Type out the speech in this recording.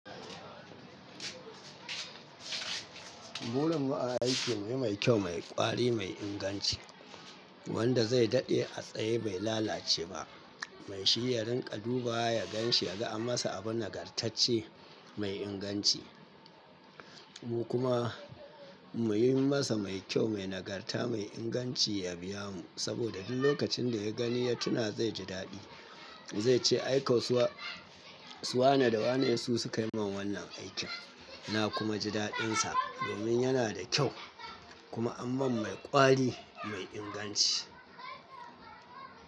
Burin mu aiki ne mai kyau, mai ƙwari, mai inganci wanda zai daɗe a tsaye bai lalace ba. Mai shi ya rinƙa duba ya gan shi, ya ga an masa abu nagartacce mai inganci. Mu kuma muyi masa mai kyau, mai nagarta, mai inganci ya biya mu. Saboda duk lokacin da ya gani ya tuna zai ji daɗi. Zai ce ai kau suwa, suwa na da wane su su kai min wannan aikin. Na kuma ji daɗinsa domin yana da kyau kuma aman mai ƙwari mai inganci.